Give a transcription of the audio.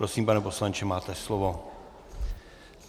Prosím, pane poslanče, máte slovo.